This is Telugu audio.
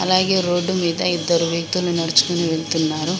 అలాగే రోడ్డు మీద ఇద్దరు వ్యక్తులు నడుచుకొని వెళ్తున్నారు.